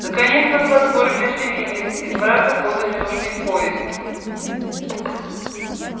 наконец на платформе оживились из мрака подали нужный поезд